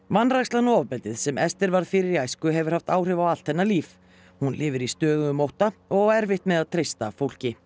vanrækslan og ofbeldið sem Esther varð fyrir í æsku hefur haft áhrif á allt hennar líf hún lifir í stöðugum ótta og á erfitt með að treysta fólki